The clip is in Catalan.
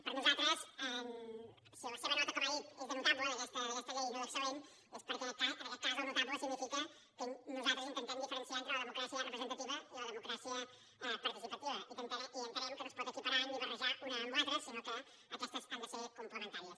per nosaltres si la seva nota com ha dit és de notable d’aquesta llei no d’excel·lent és perquè en aquest cas el notable significa que nosaltres intentem diferenciar entre la democràcia representativa i la democràcia participativa i entenem que no es pot equiparar ni barrejar una amb l’altra sinó que aquestes han de ser complementàries